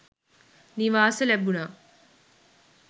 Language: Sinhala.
නිවාස ලැබුනා